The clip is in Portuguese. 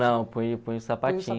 Não, põe o põe o sapatinho.